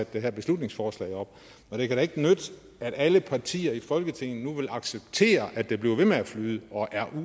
det her beslutningsforslag det kan da ikke nytte at alle partier i folketinget nu vil acceptere at det bliver ved med at flyde og er